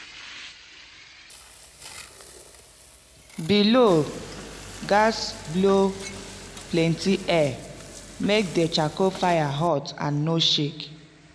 bellows gatz blow plenty air make de charcoal fire hot and no shake